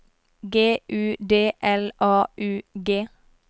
G U D L A U G